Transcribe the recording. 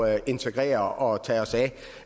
at integrere og tage os